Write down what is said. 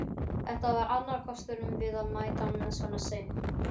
Þetta var annar kostur við að mæta svona seint.